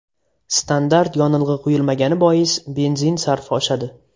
Standart yonilg‘i quyilmagani bois, benzin sarfi oshadi.